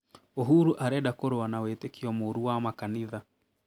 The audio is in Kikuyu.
Uhuru arenda kurũa na wĩtĩkio mũru wa makanitha